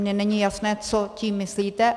Mně není jasné, co tím myslíte.